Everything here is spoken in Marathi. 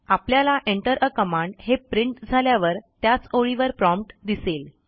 आपल्याला enter आ कमांड हे प्रिंट झाल्यावर त्याच ओळीवर प्रॉम्प्ट दिसेल